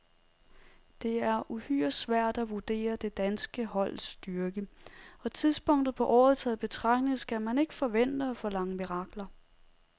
Det er uhyre svært at vurdere det danske holds styrke, og tidspunktet på året taget i betragtning skal man ikke forvente og forlange mirakler.